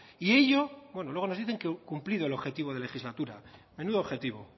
y ello bueno luego nos dicen que cumplido el objetivo de legislatura menudo objetivo